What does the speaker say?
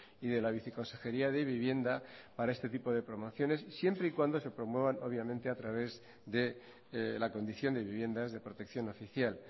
y de la viceconsejería de vivienda para este tipo de promociones siempre y cuando se promuevan obviamente a través de la condición de viviendas de protección oficial